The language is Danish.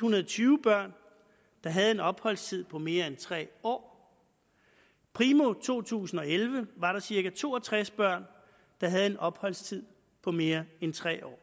hundrede og tyve børn der havde en opholdstid på mere end tre år primo to tusind og elleve var der cirka to og tres børn der havde en opholdstid på mere end tre år